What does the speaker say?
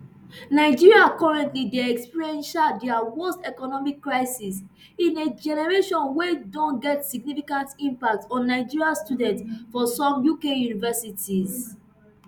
nigeria currently dey experience um dia worst economic crisis in a generation wey don get significant impact on nigerian students for some uk universities